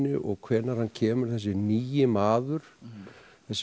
og hvenær hann kemur þessi nýi maður þessi